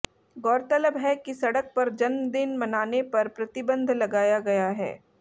गौरतलब है कि सड़क पर जन्मदिन मनाने पर प्रतिबंध लगाया गया है